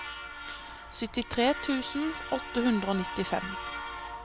syttitre tusen åtte hundre og nittifem